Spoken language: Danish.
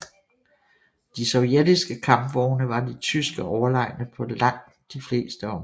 De sovjetiske kampvogne var de tyske overlegne på langt de fleste områder